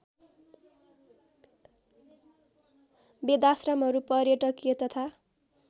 वेदाश्रमहरू पर्यटकीय तथा